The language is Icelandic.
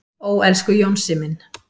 """Ó, elsku Jónsi minn."""